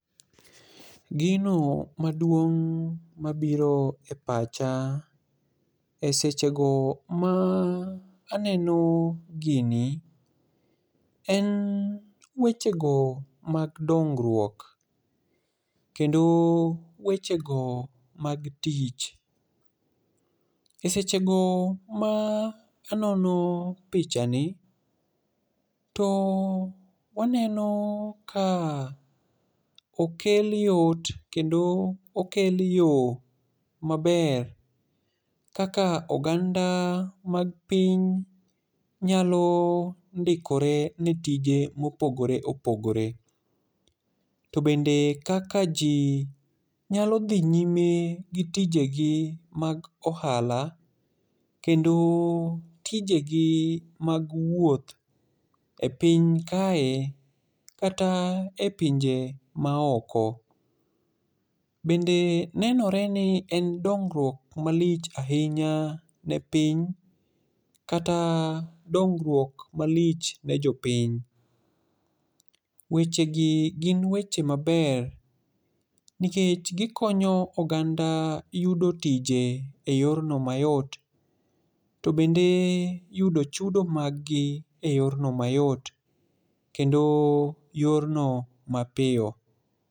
Gino maduong' mabiro e pacha esechego ma aneno gini en wechego mag dongruok kendo wechego mag tich. Esechego ma anono pichani to waneno ka okel yot kendo okel yo maber kaka oganda mag piny nyalo ndikore ne tije mopogore opogore to bende kaka ji nyalo dhi nyme gi tijegi mag ohala kendo tijegi mag wuoth epiny kae kata epinje maoko. Bende nenore ni en dongruok malich ahinya ne piny kata dongruok malich ne jopiny. Wechegi gin weche maber nikech gikonyo oganda yudo tije eyorno mayot to bende yudo chudo mag gi eyorno mayot kendo yorno mapiyo.